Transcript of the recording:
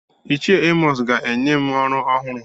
Ichie Emọs ga-enye m ọrụ ọhụrụ.